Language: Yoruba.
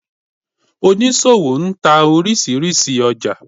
Onísọwo ń tá orísírísí ójà